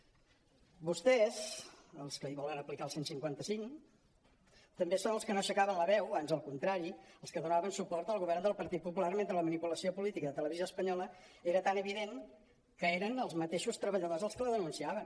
vostès els que hi volen aplicar el cent i cinquanta cinc també són els que no aixecaven la veu ans al contrari els que donaven suport al govern del partit popular mentre la mani·pulació política de televisió espanyola era tan evident que eren els mateixos treba·lladors els que la denunciaven